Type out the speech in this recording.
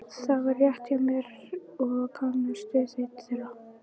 Það var rétt hjá mér, ég kannast við einn þeirra.